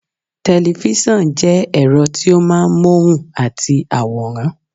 Tẹ̀lifísàn jẹ́ ẹ̀rọ tí ó máa ń móhùn àti àwòrán